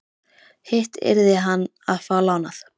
Hitt yrði hann að fá lánað.